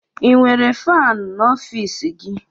Ị nwere faanị n'ọfiisi gị?